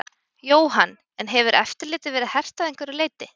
Jóhann: En hefur eftirlitið verið hert að einhverju leyti?